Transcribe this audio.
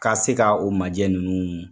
Ka se ka o majɛ ninnu